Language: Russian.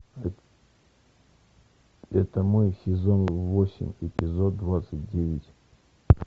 это мой сезон восемь эпизод двадцать девять